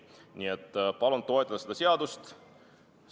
Nii et palun seda seadust toetada!